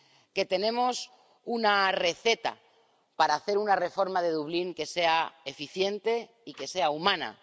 que tenemos una receta para hacer una reforma del sistema de Dublín que sea eficiente y que sea humana